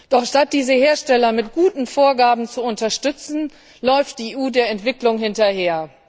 Doch statt diese Hersteller mit guten Vorgaben zu unterstützen, läuft die EU der Entwicklung hinterher.